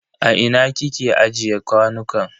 A ina kike ajiye kwanukan?